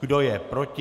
Kdo je proti?